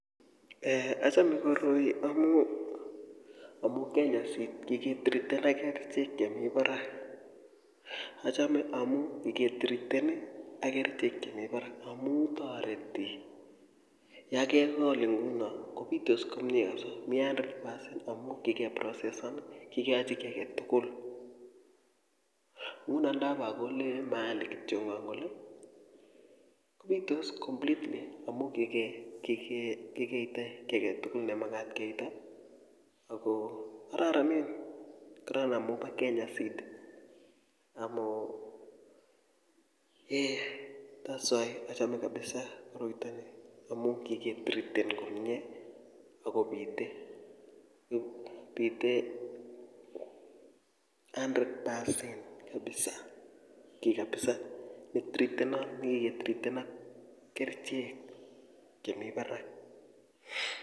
eeh achome koroi amu kenya seed kiki treaten kerchek chemi barak achome amu ngitreaten ak kerchek chemi barak amu toreti yokekol nguno kobitos komye kapsa mi hundred percent amu kikeprosesan kikeachi kiy aketugul nguno ndobokole mahali kityongon kole kobitos completely amu kikeita kiy aketugul nemagat keita ako kororonen kororon amu bo kenya seed thats why achome kabisa koroitoni amu kiketreaten komie akobite bite hundred percent kapsa ki kapsa ne treatenot nekike treaten ak kerchek chemi barak.